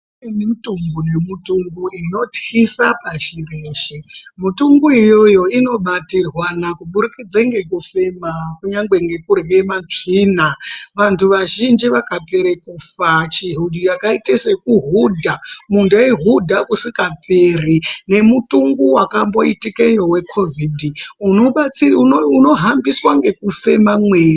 Kune mitombo nemitombo inotyisa pashi reshe mitombo iyoyo inobatirwana kuburikidza ngekufema kunyangwe nekurya matsvina vantu vazhinji vakapera kufa vachiita sekuhudha muntu eihudha kasingaperi nemutungu wakamboitikeyo wecovid unohambiswa nekufema mweya.